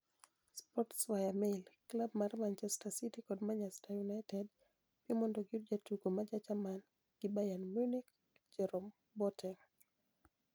(Sports via Mail) Klab mar Manichester City kod Manichester Uniited piem monido giyud jatugo ma ja Jermani gi Bayerni Muniich Jerome Boatenig.